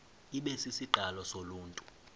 ibe sisiqalo soluntu